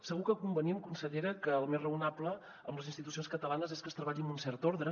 segur que convenim consellera que el més raonable en les institucions catalanes és que es treballi amb un cert ordre